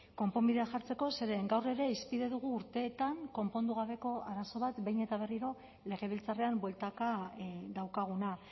konponbidea jartzeko zeren gaur ere hizpide dugu urteetan konpondu gabeko arazo bat behin eta berriro legebiltzarrean bueltaka daukaguna